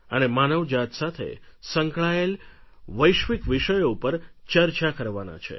અને માનવજાત સાથે સંકળાયેલા વૈશ્વિક વિષયો ઉપર ચર્ચા કરવાના છે